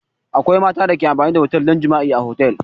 Akwai mata da ke amfani da otel don jima'i a otel.